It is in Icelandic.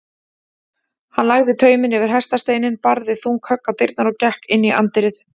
Hann lagði tauminn yfir hestasteininn, barði þung högg á dyrnar og gekk inn í anddyrið.